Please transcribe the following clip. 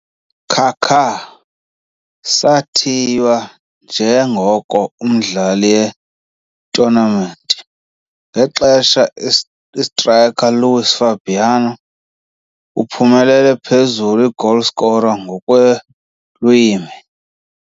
Kaká sathiywa njengoko umdlali ye-tournament ngexesha striker Luís Fabiano uphumelele phezulu goalscorer kweelwimi.